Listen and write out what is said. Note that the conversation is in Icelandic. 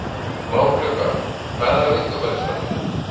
Bláklukka, hvað er á innkaupalistanum mínum?